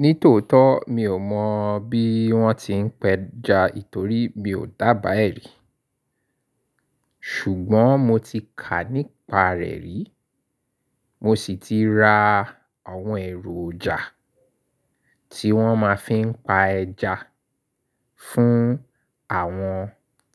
Ní tòótọ́, mi ò mọ̀ bí wọ́n ti ń pẹja nítorí mi ò dábàá ẹ̀ rí. Ṣùgbọ́n mo ti kà nípa rẹ̀ rí, mo sì ti ra àwọn ẹ̀ròjà tí wọ́n ma fi ń pa ẹja fún àwọn